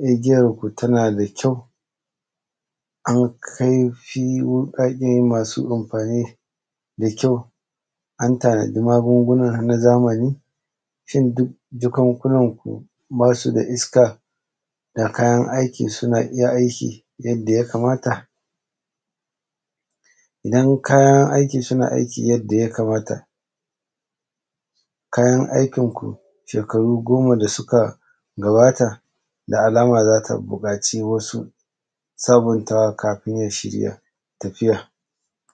igiyarku ta na da kyau an kai fi ba ka ke ma su amfani da kyau an tanaji magunguna na zamani shin duk jakunkunan ku ba su da iska ga kayan aiki iya aiki suna aiki yadda ya kamata idan kayan aiki suna aiki yanda ya kamata kayan aikin ku shekaru goma da su ka gabata da alama za ta buƙaci wasu sabuntawa kafin ya shirya tafiya